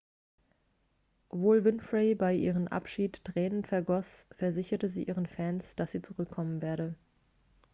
obwohl winfrey bei ihrem abschied tränen vergoss versicherte sie ihren fans dass sie zurückkommen werde